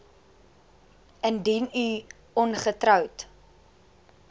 indien u ongetroud